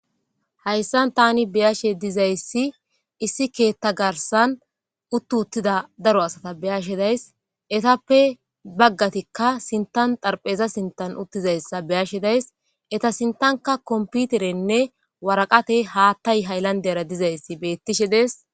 Hayssan tani beyashe dizayssi issi keetta garsan uttu uttida daro asata beyashe days etappe baggatikka sintan xarpheza sintan uttizayssa beyashe days eta sintanka komputerenne waraqate haattay hayllandera dizayssi beettishe dees